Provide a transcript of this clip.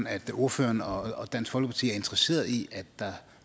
at ordføreren og dansk folkeparti er interesseret i at